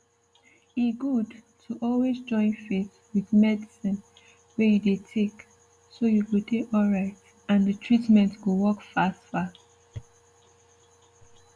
e good to always join faith with medicine wey you dey take so you go dey alright and dey treatment go work fast fast